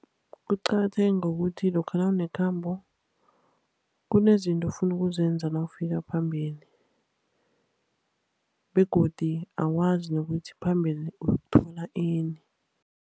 Kuqakatheke ngokuthi lokha nawunekhambo, kunezinto ofuna ukuzenza nawufika phambili. Begodu awazi nokuthi phambili uyokuthola ini.